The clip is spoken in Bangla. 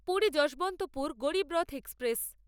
পুরী যশবন্তপুর গরীব রথ এক্সপ্রেস